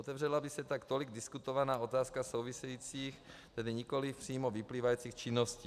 Otevřela by se tak tolik diskutovaná otázka souvisejících, tedy nikoli přímo vyplývajících činností.